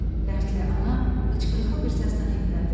Dərdli ana hıçqırıqlı bir səslə inlədi.